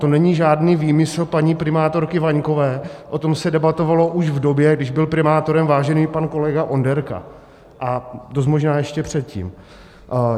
To není žádný výmysl paní primátorky Vaňkové, o tom se debatovalo už v době, kdy byl primátorem vážený pan kolega Onderka, a dost možná ještě předtím.